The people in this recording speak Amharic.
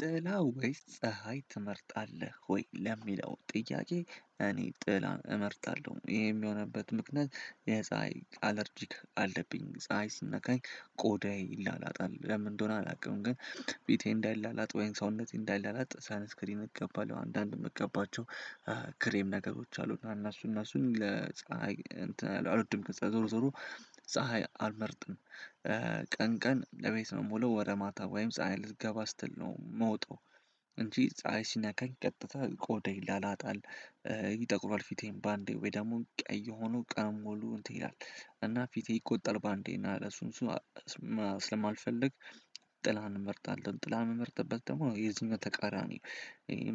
ጥላ ወይስ ፀሀይ ትመርጣለህ? ወይ ለሚለው ጥያቄ እኔ ጥላን እመርጣለሁ ይሄም የሆነበት ምክንያት የፀሀይ አለርጂክ አለብኝ ፀሀይ ስንነካኝ ቆዳዬ ይላላጣል ለምን እንደሆነ አላውቅም ግን ፊቴ እንዳይላላጥ ወይም ሰውነቴ እንዳይላላጥ ሰንስክሪን እገባለሁ አንዳንድ የምቀባቸው ክሬም ነገሮች አሉና እና እነሱን እነሱን ለፀሀይ አልወድም በቃ ዞሮ ዞሮ ፀሀይ አልመርጥም። ቀን ቀን ለቤት ምውለው ወደ ማታ ወይም ፀሀይ ልትገባ ስትል ነው የምወጣው። እንጂ ፀሀይ ሲናካኝ ቀጥታ ቆዳዬ ይላላጣል። ይጠቁራል ፊቴን በአንዴ ወይ ደግሞ ቀይ ሆኖ ቀኑን ሞሉ እንትን ይላል። እና ፊቴ ይቆጣል በአንዴ እና እሱ እሱን ስለሚልፈልግ ጥላ እንመርጣለን ጥላ ምመርጥበት ደግሞ የዚህኛው ተቃራኒ